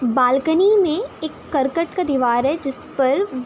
balcony में एक कर्कट का दीवार है जिस पर --